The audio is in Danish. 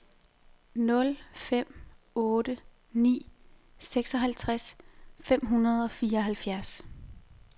nul fem otte ni seksoghalvtreds fem hundrede og fireoghalvfjerds